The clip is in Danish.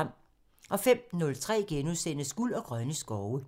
05:03: Guld og grønne skove *(tir)